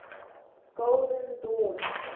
golden dawn